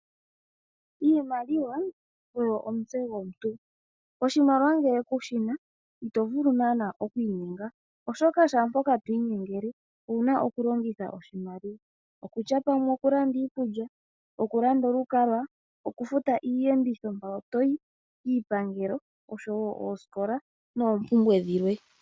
Iimaliwa oyo omutse gomuntu. Oshimaliwa ngele kushina ito vulu naana oku inyenga, oshoka shampoka to inyengele owuna okulongitha oshimaliwa. Okutya pamwe okulanda iikulya, okulanda olukalwa, okufuta iiyenditho mpoka to yi, iipangelo oshowo oosikola noompumbwe dhilwe.